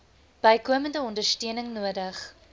bykomende ondersteuning nodig